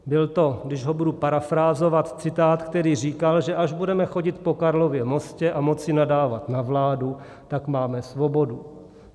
Byl to, když ho budu parafrázovat, citát, který říkal, že až budeme chodit po Karlově mostě a moci nadávat na vládu, tak máme svobodu.